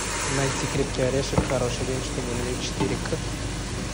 найти крепкий орешек хороший день чтобы умереть четыре к